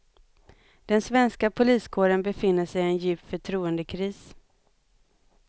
Den svenska poliskåren befinner sig i en djup förtroendekris.